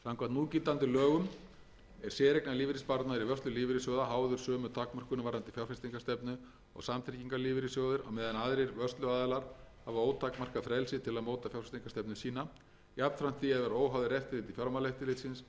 núgildandi lögum er séreignarlífeyrissparnaður í vörslu lífeyrissjóða háður sömu takmörkunum varðandi fjárfestingarstefnu og samtryggingarlífeyrissjóðir á meðan aðrir vörsluaðilar hafa ótakmarkað frelsi til að móta fjárfestingarstefnu sína jafnframt því að vera óháðir eftirliti fjármálaeftirlitsins hvað hana varðar þetta ójafnræði milli vörsluaðila sem bjóða upp